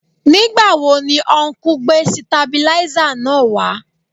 Nígbà wo ni ọnkú gbé sitabiláísà náà wá